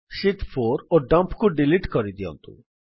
ଶୀତ୍ 4 ଓ ଡମ୍ପ୍ କୁ ଡିଲିଟ୍ କରିଦିଅନ୍ତୁ